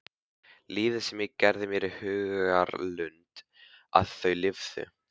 Lífið sem ég gerði mér í hugarlund að þau lifðu.